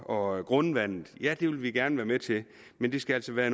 og grundvandet ja det vil vi gerne være med til men det skal altså være